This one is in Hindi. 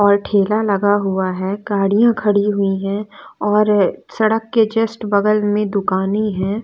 और ठेला लगा हुआ है गाड़ियां खड़ी हुई है और सड़क के जस्ट बगल में दुकानें है।